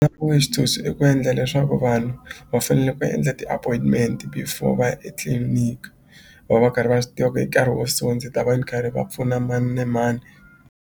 ku ve xitshunxo i ku endla leswaku vanhu va fanele va endla ti-appointment before va ya etliliniki va va karhi va swi tiva ku hi nkarhi wo so ndzi ta va ni karhi va pfuna mani ni mani.